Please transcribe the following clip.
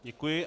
Děkuji.